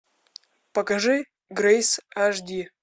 покажи грейс аш ди